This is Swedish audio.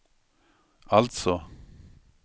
alltså